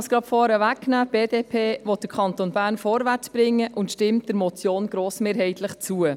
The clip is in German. Die BDP will den Kanton Bern vorwärtsbringen und stimmt der Motion grossmehrheitlich zu.